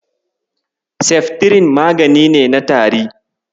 Seftirin magani ne na tari.